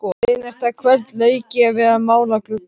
Seinasta kvöldið lauk ég við að mála gluggann.